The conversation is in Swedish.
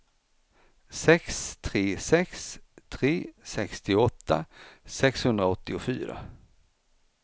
sex tre sex tre sextioåtta sexhundraåttiofyra